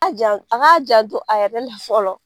A jan a ka janto a yɛrɛ la fɔlɔ.